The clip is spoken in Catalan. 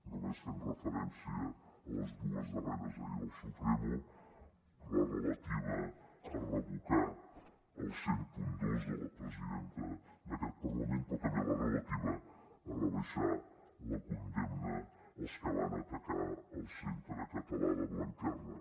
només fem referència a les dues darreres ahir del supremo la relativa a revocar el mil dos de la presidenta d’aquest parlament però també la relativa a rebaixar la condemna als que van atacar el centre català de blanquerna